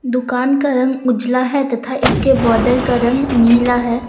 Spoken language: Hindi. दुकान का रंग उजला है तथा इसके बॉर्डर का रंग नीला है।